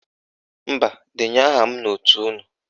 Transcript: Mba, denye aha m n'òtù unu